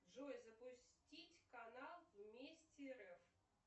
джой запустить канал вместе рф